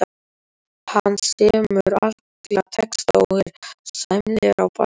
Hann semur alla texta og er sæmilegur á bassa.